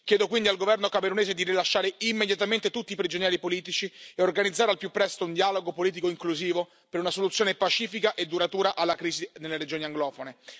Chiedo quindi al governo camerunese di rilasciare immediatamente tutti i prigionieri politici e organizzare al più presto un dialogo politico inclusivo per una soluzione pacifica e duratura alla crisi nelle regioni anglofone.